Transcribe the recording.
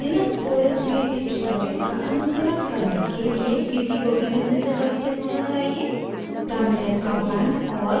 linux os में इस tutorial का अनुसरण करने के लिए किसी को भी निम्न से परिचित होना चाहिए: